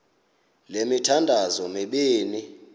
le mithandazo mibini